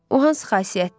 O hansı xasiyyətdir?